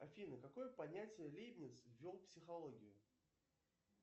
афина какое понятие лейбниц ввел в психологию